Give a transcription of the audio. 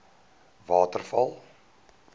waterval